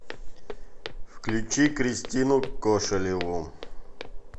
включи кристину кошелеву